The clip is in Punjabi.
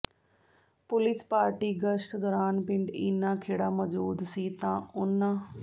ਪੁਲਿਸ ਪਾਰਟੀ ਗਸ਼ਤ ਦੌਰਾਨ ਪਿੰਡ ਈਨਾ ਖੇੜਾ ਮੌਜੂਦ ਸੀ ਤਾਂ ਉਨ੍ਹਾ